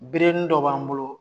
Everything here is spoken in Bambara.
Berenin dɔ b'an bolo